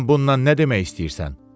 Sən bunla nə demək istəyirsən?